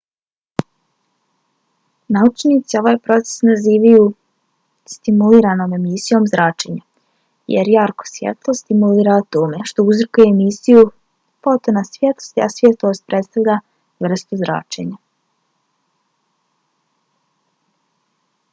naučnici ovaj proces nazivaju stimuliranom emisijom zračenja jer jarko svjetlo stimulira atome što uzrokuje emisiju fotona svjetlosti a svjetlost predstavlja vrstu zračenja